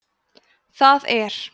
það er